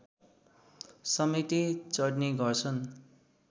समेत चढ्ने गर्छ